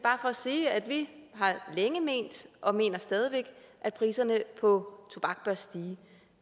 sige at vi har længe ment og mener stadig væk at priserne på tobak bør stige